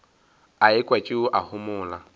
a ekwa tšeo a homola